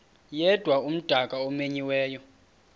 yedwa umdaka omenyiweyo